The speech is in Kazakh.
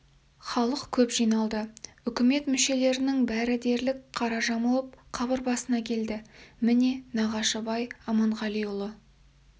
халық көп жиналды үкімет мүшелерінің бәрі де дерлік қара жамылып қабыр басына келді міне нағашыбай аманғалиұлы